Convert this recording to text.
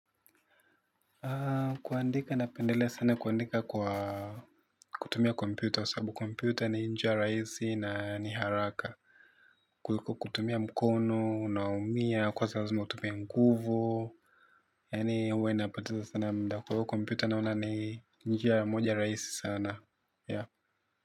Kuandika napendelea sana kuandika kwa kutumia kompyuta kwa sababu kompyuta ni njia rahisi na ni haraka. Kutumia mkono, unaumia, kwa saa nzima utumie nguvu. Yaani huwa inapoteza sana muda kwa hivyo kompyuta naona ni njia moja rahisi sana.